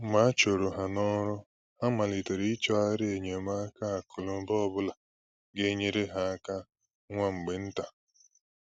Mgbe a chụrụ ha n’ọrụ, ha malitere i chọghari enyemaka akụ́ na ụ̀ba ọbụna ga enyere ha áká nwa mgbe ntà.